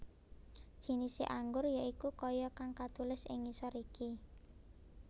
Jinise anggur ya iku kaya kang katulis ing ngisor iki